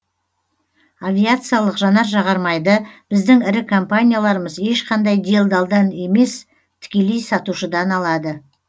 авиациялық жанар жағармайды біздің ірі компанияларымыз ешқандай делдалдан емес тікелей сатушыдан алады